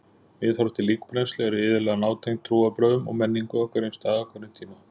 Viðhorf til líkbrennslu eru iðulega nátengd trúarbrögðum og menningu á hverjum stað á hverjum tíma.